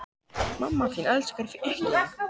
Eigið þið von á því að viðbúnaðarstig verði hækkað?